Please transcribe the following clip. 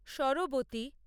সরবতী